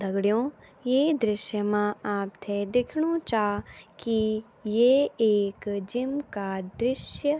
दगडियों ये दृश्य मा आपथे दिख्णु चा की ये एक जिम का दृश्य --